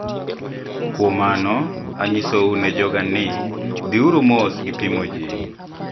Kuom mano, anyisou ne joga ni, " Dhiuru mos gi pimo ji.